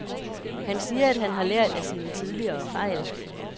Han siger, at han har lært af sine tidligere fejl.